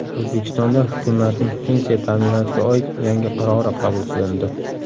O‘zbekistonda hukumatning pensiya ta’minotiga oid yangi qarori qabul qilindi.